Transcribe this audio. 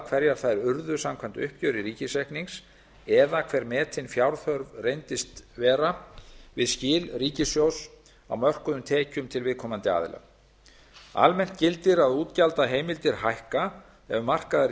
hverjar þær urðu samkvæmt uppgjöri ríkisreiknings eða hver metin fjárþörf reyndist vera við skil ríkissjóðs á mörkuðum tekjum til viðkomandi aðila almennt gildir að útgjaldaheimildir hækka ef markaðar